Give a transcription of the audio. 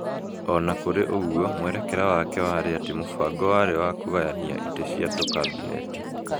O na kũrĩ ũguo, mwerekera wake warĩ atĩ mũbango warĩ wa kũgayania ĩte cia tu Kabineti.